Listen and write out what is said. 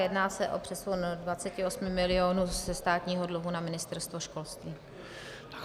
Jedná se o přesun 28 milionů ze státního dluhu na Ministerstvo školství.